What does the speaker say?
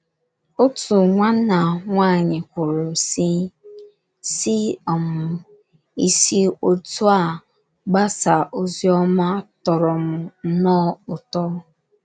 Otu nwanna nwaanyị kwuru, sị:, sị: um “ Isi otú a gbasaa ozi ọma tọrọ m nnọọ ụtọ.